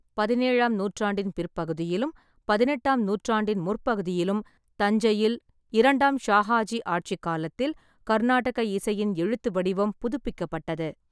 பதினேழாம் நூற்றாண்டின் பிற்பகுதியிலும், பதினெட்டாம் நூற்றாண்டின் முற்பகுதியிலும் தஞ்சையில் இரண்டாம் ஷாஹாஜி ஆட்சிக் காலத்தில் கர்நாடக இசையின் எழுத்து வடிவம் புதுப்பிக்கப்பட்டது.